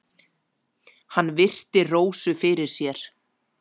Hann virti Rósu fyrir sér.